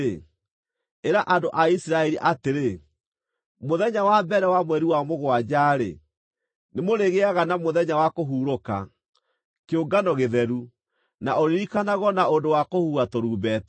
“Ĩra andũ a Isiraeli atĩrĩ: ‘Mũthenya wa mbere wa mweri wa mũgwanja-rĩ, nĩmũrĩgĩaga na mũthenya wa kũhurũka, kĩũngano gĩtheru, na ũririkanagwo na ũndũ wa kũhuha tũrumbeta.